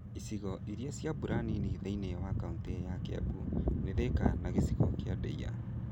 Icigo irĩa cia mbura nini thĩiniĩ wa kaunitĩ ya Kĩambu nĩ Thĩka na gĩcigo kĩa Ndeiya.